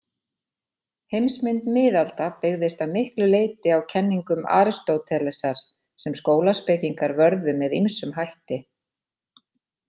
Heimsmynd miðalda byggðist að miklu leyti á kenningum Aristótelesar, sem skólaspekingar vörðu með ýmsum hætti.